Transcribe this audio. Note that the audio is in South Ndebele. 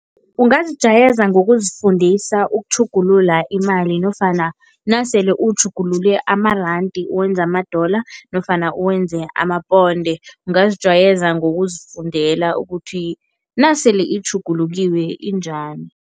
Ungazijayeza ngokuzifundisa ukutjhugulula imali nofana nasele utjhugulule amarandi uwenze ama-dollar nofana uwenze amaponde, ungazijwayeza ngokuzifundela ukuthi nasele itjhugulukile injani.